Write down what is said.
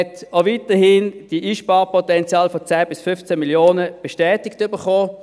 Man hat auch weiterhin die Einsparpotenziale von 10–15 Mio. Franken bestätigt erhalten.